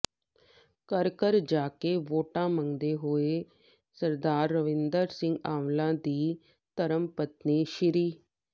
ਘਰ ਘਰ ਜਾ ਕੇ ਵੋਟਾਂ ਮੰਗਦੇ ਹੋਏ ਸ ਰਮਿੰਦਰ ਸਿੰਘ ਆਂਵਲਾ ਦੀ ਧਰਮਪਤਨੀ ਸ਼੍